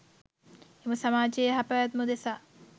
එම සමාජයේ යහ පැවැත්ම උදෙසා